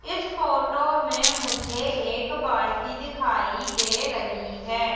इस फोटो में मुझे एक बाल्टी दिखाई दे रही है।